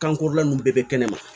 Kankɔrɔlan ninnu bɛɛ bɛ kɛnɛma